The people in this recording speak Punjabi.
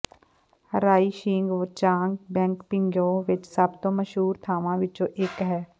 ਰਾਈ ਸ਼ੇਗ ਚਾਂਗ ਬੈਂਕ ਪਿੰਗਯੋ ਵਿਚ ਸਭ ਤੋਂ ਮਸ਼ਹੂਰ ਥਾਂਵਾਂ ਵਿੱਚੋਂ ਇਕ ਹੈ